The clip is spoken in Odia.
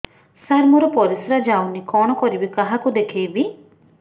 ସାର ମୋର ପରିସ୍ରା ଯାଉନି କଣ କରିବି କାହାକୁ ଦେଖେଇବି